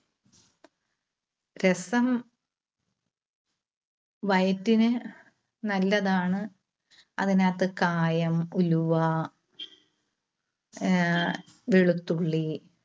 രസം വയറ്റിന് നല്ലതാണ്. അതിനകത്ത് കായം, ഉലുവ, ആഹ് വെളുത്തുള്ളി